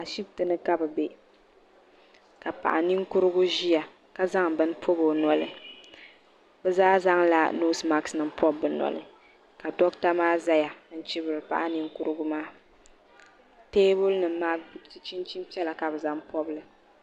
Ahibiti ni ka bɛ be ka paɣa ninkurugu ʒiya ka zaŋ bini pɔbi o noli bɛ zaa zaŋla noosi masik nima pɔbi bɛ noli ka dɔɣita maa zaya n-chibiri paɣa ninkurugu maa teebuli nima maa chinchini piɛla ka bɛ zaŋ pɔbi li.